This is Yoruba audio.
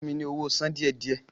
Fún mi ní owó sàn díẹ̀-díẹ̀!